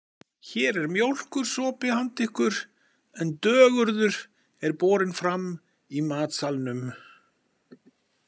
Hér er mjólkursopi handa ykkur en dögurður er borinn fram í matsalnum.